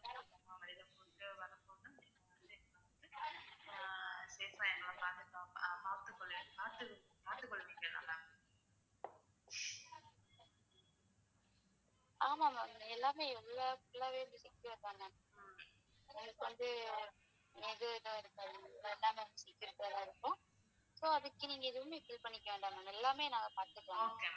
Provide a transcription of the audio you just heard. Okay ma'am.